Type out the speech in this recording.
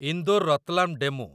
Indore Ratlam DEMU